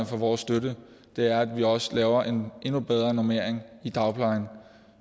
for vores støtte er at vi også laver en endnu bedre normering i dagplejen